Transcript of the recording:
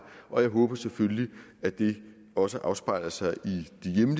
og jeg håber selvfølgelig at det også afspejler sig